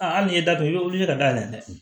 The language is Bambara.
A hali n'i datigɛ i bɛ wuli ka dayɛlɛ